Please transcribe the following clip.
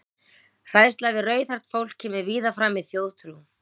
Hræðsla við rauðhært fólk kemur víða fram í þjóðtrú.